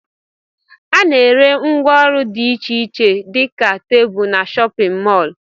Ana ere ngwá ụlọ dị iche iche dika tebụl n'shóppin mol.